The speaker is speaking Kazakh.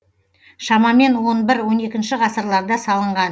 шамамен он бір он екінші ғасырларда салынған